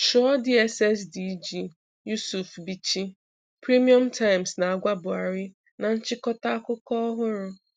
Chụọ DSS DG, Yusuf Bichi, Premium Times na-agwa Buhari na nchịkọta akụkọ ọhụrụ